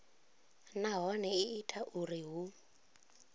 nahone i ita uri hu